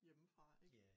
Hjemmefra ik